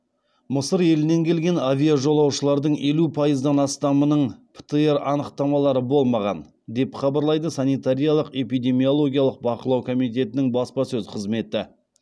мысыр елінен келген авиажолаушылардың елу пайыздан астамының птр анықтамалары болмаған деп хабарлайды санитариялық эпидемиологиялық бақылау комитетінің баспасөз қызметі